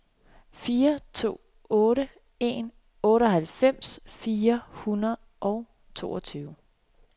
fire to otte en otteoghalvfems fire hundrede og toogtyve